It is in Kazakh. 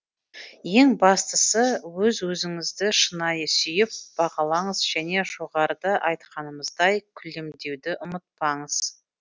ең бастысы өз өзіңізді шынайы сүйіп бағалаңыз және жоғарыда айтқанымыздай күлімдеуді ұмытпаңыз